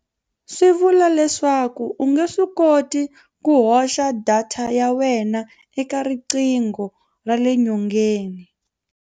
Swi vula leswaku u nge swi koti ku hoxa data ya wena eka riqingho ra le nyongeni.